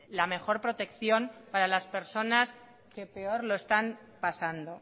la mejor protección para las personas que peor lo están pasando